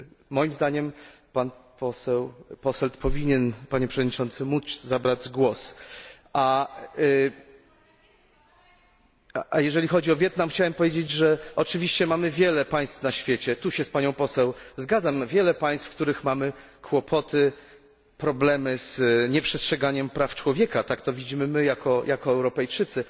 Moim zdaniem pan poseł Posselt powinien móc zabrać głos. Jeżeli chodzi o Wietnam, chciałem powiedzieć, że oczywiście mamy wiele państw na świecie tutaj się z panią poseł zgadzam wiele państw, w których mamy kłopoty, problemy z nieprzestrzeganiem praw człowieka. Tak to widzimy my jako Europejczycy.